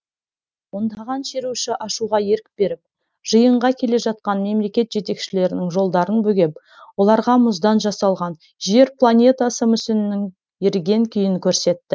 ондаған шеруші ашуға ерік беріп жиынға келе жатқан мемлекет жетекшілерінің жолдарын бөгеп оларға мұздан жасалған жер планетасы мүсінінің еріген күйін көрсетті